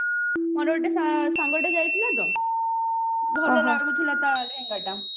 ମୋର ଗୋଟେ ସାଙ୍ଗଟେ ଯାଇଥିଲା ତ ଭଲ ଲାଗୁଥିଲା ତା ଲେହେଙ୍ଗା ଟା